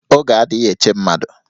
Oge adịghị eche mmadụ